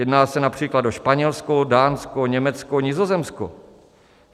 Jedná se například o Španělsko, Dánsko, Německo, Nizozemsko.